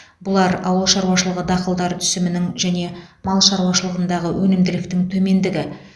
бұлар ауыл шаруашылығы дақылдары түсімінің және мал шаруашылығындағы өнімділіктің төмендігі